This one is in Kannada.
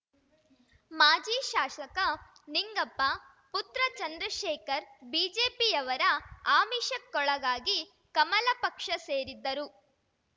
ಮಾಜಿ ಶಾಸಕ ನಿಂಗಪ್ಪ ಪುತ್ರ ಚಂದ್ರಶೇಖರ್ ಬಿಜೆಪಿಯವರ ಆಮಿಷಕ್ಕೊಳಗಾಗಿ ಕಮಲ ಪಕ್ಷ ಸೇರಿದ್ದರು